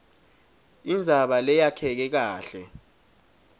indzaba leyakheke kahle